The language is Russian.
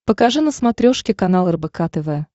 покажи на смотрешке канал рбк тв